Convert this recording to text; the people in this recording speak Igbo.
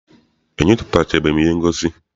Enyochatubeghi m ihe ngosi.